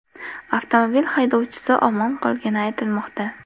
Avtomobil haydovchisi omon qolgani aytilmoqda.